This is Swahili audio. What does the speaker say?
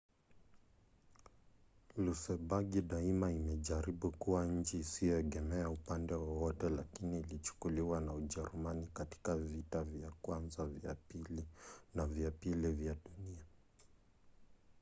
lusembagi daima imejaribu kuwa nchi isiyoegemea upande wowote lakini ilichukuliwa na ujerumani katika vita vya kwanza na vya pili vya dunia